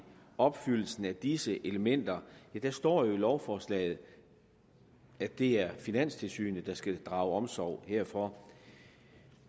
opfyldelsen af disse elementer det står jo i lovforslaget at det er finanstilsynet der skal drage omsorg herfor